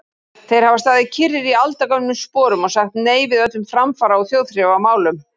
Þeir hafa staðið kyrrir í aldagömlum sporum og sagt nei við öllum framfara- og þjóðþrifamálum.